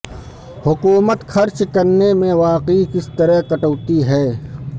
حکومت خرچ کرنے میں واقعی کس طرح کٹوتی ہے